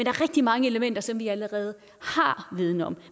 er rigtig mange elementer som vi allerede har viden om